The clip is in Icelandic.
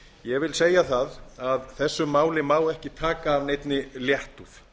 ég vil segja að þessu máli má ekki taka af neinni léttúð